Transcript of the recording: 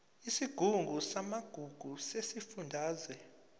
isigungu samagugu sesifundazwe